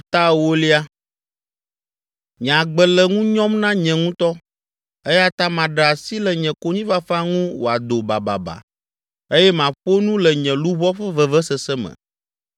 “Nye agbe le ŋu nyɔm na nye ŋutɔ, eya ta maɖe asi le nye konyifafa ŋu wòado bababa eye maƒo nu le nye luʋɔ ƒe vevesese me.